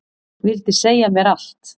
Vildi segja mér allt.